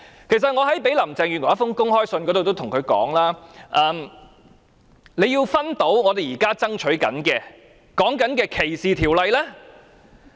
我在一封給林鄭月娥的公開信中跟她說，她要認清我們現在爭取的反歧視條例。